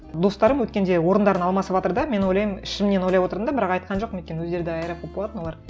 достарым өткенде орындарын алмасыватыр да мен ойлаймын ішімнен ойлап отырдым да бірақ айтқан жоқпын өйткені өздері де аэрофоб болатын олар